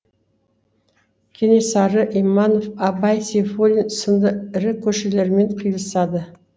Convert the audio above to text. кенесары иманов абай сейфуллин сынды ірі көшелермен қиылысады